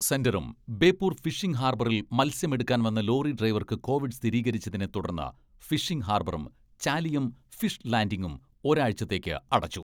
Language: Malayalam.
സെന്ററും ബേപ്പൂർ ഫിഷിംഗ് ഹാർബറിൽ മത്സ്യം എടുക്കാൻ വന്ന ലോറി ഡ്രൈവർക്ക് കോവിഡ് സ്ഥിരീകരിച്ചതിനെ തുടർന്ന് ഫിഷിംഗ് ഹാർബറും, ചാലിയം ഫിഷ് ലാന്റിംഗും ഒരാഴ്ചത്തേക്ക് അടച്ചു.